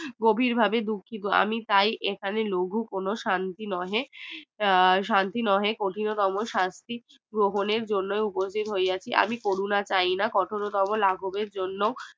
গভীর ভাবে দুঃখিত আমি তাই এখানে লঘু কোনো শান্তি নহে শান্তি নহে কঠিনতম শাস্তি প্রবীনের জন্য উপস্থিত হইয়া চি আমি কোরুনা চাইনা কঠোরতম লাগবে জন্য